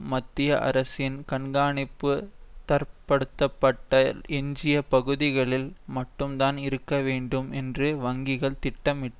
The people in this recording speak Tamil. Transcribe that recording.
மத்திய அரசின் கண்காணிப்பு தரப்படுத்தப்பட்ட எஞ்சிய பகுதிகளில் மட்டும்தான் இருக்க வேண்டும் என்று வங்கிகள் திட்டமிட்டு